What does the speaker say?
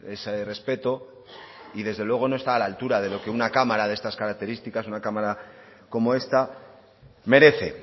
ese respeto y desde luego no está a la altura de lo que una cámara de estas características una cámara como esta merece